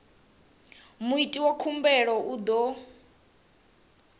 muiti wa khumbelo u ḓo